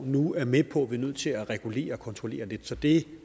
nu er med på at vi er nødt til at regulere og kontrollere lidt så det